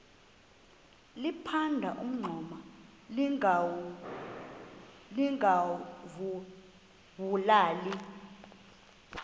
liphanda umngxuma lingawulali